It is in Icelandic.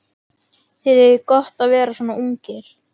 Þið eigið gott að vera svona ungir.